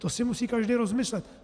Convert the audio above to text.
To si musí každý rozmyslet.